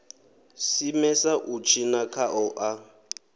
simesa u tshina khao a